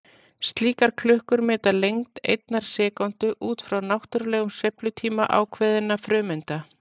Slíkar klukkur meta lengd einnar sekúndu út frá náttúrulegum sveiflutíma ákveðinna frumeinda.